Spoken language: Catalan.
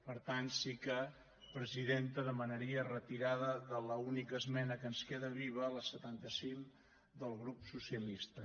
per tant sí que presidenta demanaria retirada de l’única esmena que ens queda viva la setanta cinc del grup socialista